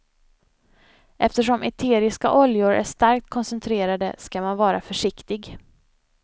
Eftersom eteriska oljor är starkt koncentrerade ska man vara försiktig.